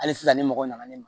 Hali sisan ne mɔgɔ nana ne ma